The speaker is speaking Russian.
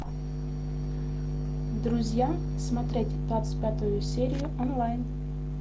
друзья смотреть двадцать пятую серию онлайн